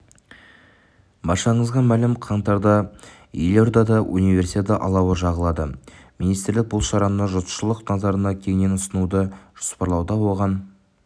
баршаңызға мәлім қаңтарда елордада универсиада алауы жағылады министрлік бұл шараны жұртшылық назарына кеңінен ұсынуды жоспарлауда оған